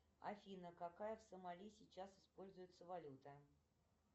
афина какая в сомали сейчас используется валюта